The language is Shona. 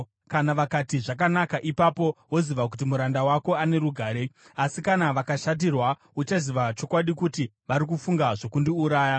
Kana vakati, ‘Zvakanaka,’ ipapo woziva kuti muranda wako ane rugare. Asi kana vakashatirwa, uchaziva chokwadi kuti vari kufunga zvokundiuraya.